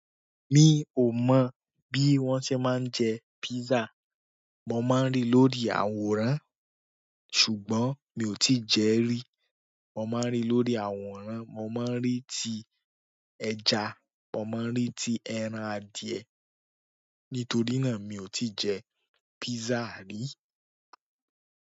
Mi ò mọ̀ bí wón ṣe máa ń jẹ pizza. Mo máa ń rí lórí àwòrán ṣùgbọ́n mi ò tí je rí. Mo máa ń rí lórí àwòrán, mo máa ń rí ti ẹ̀ja, mo máa ń rí ti ẹran adìẹ. Nítorí náà mio tii je pizza ri.